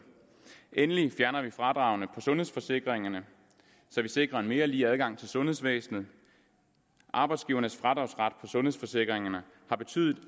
endelig fjerner vi fradragene på sundhedsforsikringerne så vi sikrer en mere lige adgang til sundhedsvæsenet arbejdsgivernes fradragsret på sundhedsforsikringerne har betydet